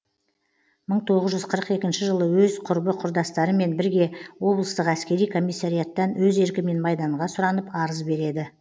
мың тоғыз жүз қырық екінші жылы өз құрбы құрдастарымен бірге облыстық әскери комиссариаттан өз еркімен майданға сұранып арыз береді